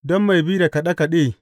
Don mai bi da kaɗe kaɗe.